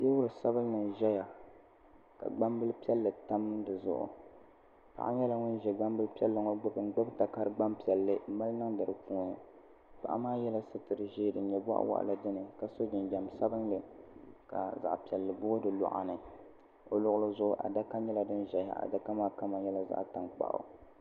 loori sabinli zaya ka gbambil piɛlli tam di zuɣu paɣa nyɛla ŋun ziɛ gbambil piɛlli ŋɔ gbuni n gbubi takari gban piɛlli n mali niŋdi di puuni paɣa maa yɛla sitiri ziɛ din nyɛ bɔɣa waɣa la dini ka so jinjam sabinli ka zaɣa piɛlli booi di luɣa ni o luɣili zuɣu adaka nyɛla din zaya adaka maa kama nyɛla zaɣi tankpaɣu